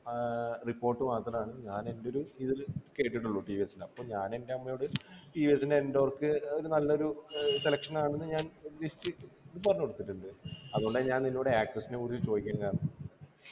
ആഹ് report മാത്രാണ് ഞാനെൻ്റെ ഒര് ഇതില് കേട്ടിട്ടുള്ളു ടി വി എസ് നു അപ്പൊ ഞാനെൻ്റെ അമ്മയോട് TVS സ്ൻ്റെ endork ഏർ ഒരു നല്ലൊരു ഏർ selection ആണെന്ന് ഞാൻ list ഇത് പറഞ്ഞു കൊടുത്തിട്ടുണ്ട് അതുകൊണ്ടാ ഞാൻ നിന്നോട് access നെക്കുറിച്ച് ചോയ്ക്കാൻ കാരണം